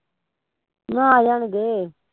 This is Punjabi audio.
ਮੈਂ ਕਿਹਾਂ ਆ ਜਾਣਗੇ